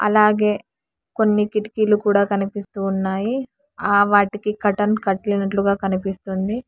అలాగే కొన్ని కిటికీలు కూడా కనిపిస్తూ ఉన్నాయి ఆ వాటికి కర్టన్ కట్టినట్లుగా కనిపిస్తుంది.